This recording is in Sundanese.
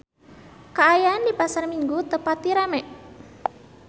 Kaayaan di Pasar Minggu teu pati rame